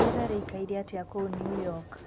rĩera rĩĩkaĩre atĩa kũu new york